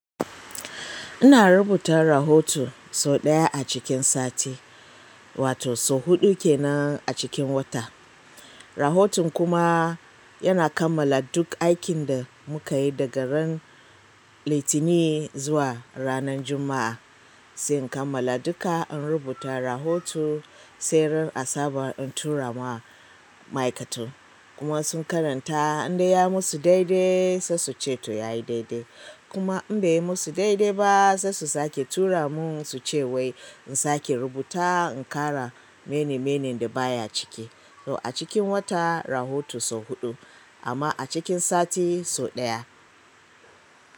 Ina rubuta rahoto sau ɗaya a cikin sati, wato sau huɗu kenan a cikin wata. Rahoton kuma yana kammala duk aikin da muka yi daga ran Litinin zuwa ranan Juma'a. Sai in kammala duka in rubuta rahoto, sai ran asabar in tura ma ma'aikata kuma sun karanta in dai ya musu daidai sai su ceto yayi daidai. Kuma in bai yi musu daidai ba sai su sake tura mun su ce wai in sake rubutawa, in ƙara mene menen da baya cike. To a cikin wata rahoto sau huɗu amma a cikin sati sau ɗaya.